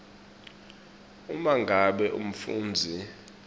uma ngabe umfundzi